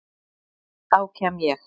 Þá kem ég.